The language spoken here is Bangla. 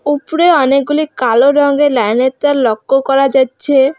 উপরে অনেকগুলি কালো রঙের লাইনের তার লক্ষ করা যাচ্ছে।